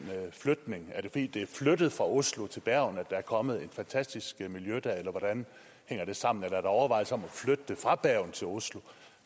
flytning er det fordi det er flyttet fra oslo til bergen at der er kommet et fantastisk miljø eller hvordan hænger det sammen er der overvejelser om flytte det fra bergen til oslo